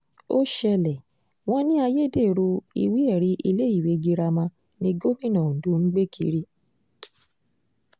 ó ṣẹlẹ̀ wọn ní ayédèrú ìwé-ẹ̀rí iléèwé girama ni gómìnà ondo ń gbé kiri